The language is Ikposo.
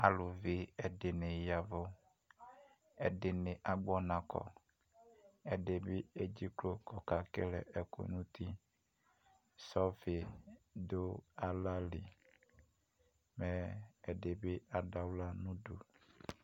ɑluvi ɛɗiɲiyɑvω ɛḍiɲi ɑgboɲɑkɔ ɛɗiɲi ɛdziklo kɛkɛlɛ ɛkω ɲuti sɔfiɗω ɑlɑli ɛɗibi ɑɗuɑlɑnuɗω